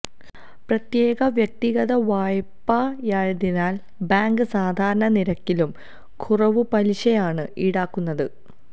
പ്രത്യേക വ്യക്തിഗത വായ്പയായതിനാൽ ബാങ്ക് സാധാരണ നിരക്കിലും കുറവു പലിശയാണ് ഈടാക്കുന്നത്